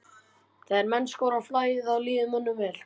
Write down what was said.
Þegar menn skora í flæði að þá líður mönnum vel.